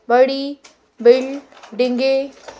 बड़ी बिल्डींगे --